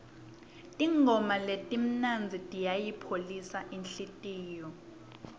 tingoma letimnandzi tiyayipholisa inhlitiyo